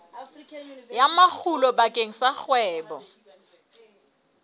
ya makgulo bakeng sa kgwebo